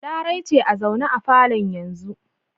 Larai ce a zaune a falon yanzu.